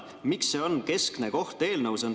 Miks sellel on keskne koht eelnõus?